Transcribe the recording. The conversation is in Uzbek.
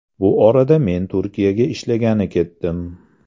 Bu orada men Turkiyaga ishlagani ketdim.